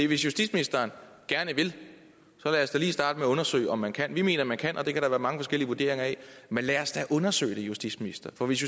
hvis justitsministeren gerne vil så lad os da lige starte med at undersøge om man kan vi mener at man kan og det kan der være mange forskellige vurderinger af men lad os da undersøge det justitsminister for hvis